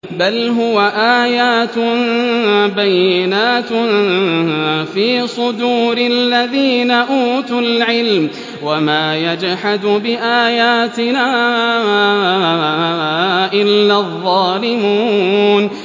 بَلْ هُوَ آيَاتٌ بَيِّنَاتٌ فِي صُدُورِ الَّذِينَ أُوتُوا الْعِلْمَ ۚ وَمَا يَجْحَدُ بِآيَاتِنَا إِلَّا الظَّالِمُونَ